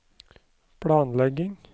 planlegging